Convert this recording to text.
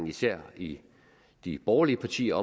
især i de borgerlige partier